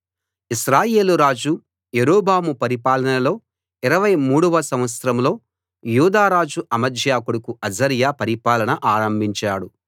ఇశ్రాయేలురాజు యరొబాము పరిపాలనలో 23 వ సంవత్సరంలో యూదారాజు అమజ్యా కొడుకు అజర్యా పరిపాలన ఆరంభించాడు